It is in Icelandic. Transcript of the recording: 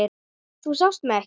Þú sást mig ekki.